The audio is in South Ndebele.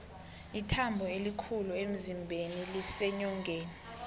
ithambo elikhulu emzimbeni liseenyongeni